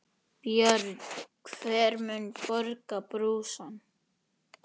Björn: Hver mun borga brúsann?